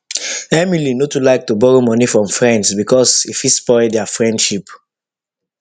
emily no too like to borrow money from friends because e fit spoil their friendship